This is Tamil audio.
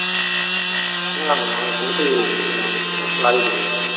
ஹம் நான் அதை பாத்ததில்லைன்னு நினைக்கிறேன்